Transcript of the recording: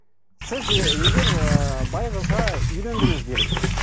сіз егер ы бай қызға үйлендіңіз делік